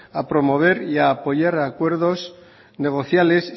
a promover y a apoyar acuerdos negociales